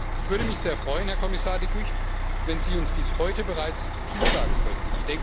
Ich würde mich sehr freuen, Herr Kommissar De Gucht, wenn Sie uns dies heute bereits zusagen könnten.